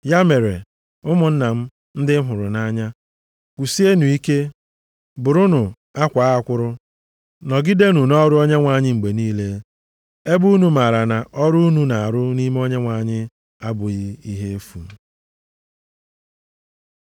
Ya mere, ụmụnna m ndị m hụrụ nʼanya, kwụsienụ ike, bụrụnụ akwaa akwụrụ. Nọgidenụ nʼọrụ Onyenwe anyị mgbe niile, ebe unu maara na ọrụ unu na-arụ nʼime Onyenwe anyị abụghị ihe efu.